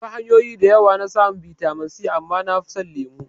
Akwai hanyoyi da yawa na samun bitamin C amma nafi son lemo